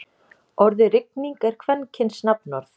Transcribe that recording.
Orðið rigning er kvenkyns nafnorð.